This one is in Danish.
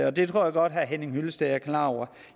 og det tror jeg godt herre henning hyllested er klar over